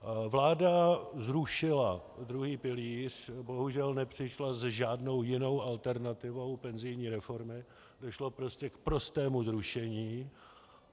Vláda zrušila druhý pilíř, bohužel nepřišla s žádnou jinou alternativou penzijní reformy, došlo prostě k prostému zrušení.